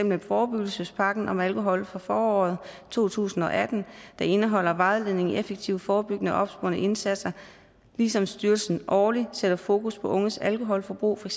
med forebyggelsespakken om alkohol fra foråret to tusind og atten der indeholder vejledning i effektive forebyggende og opsporende indsatser ligesom styrelsen årligt sætter fokus på unges alkoholforbrug for